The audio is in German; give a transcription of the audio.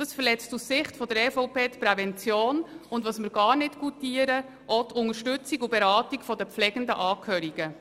Sie verletzt aus unserer Sicht die Prävention, und, was wir gar nicht schätzen, auch die Unterstützung und Beratung der pflegenfordernde Babyboomer-Generation – den Angehörigen.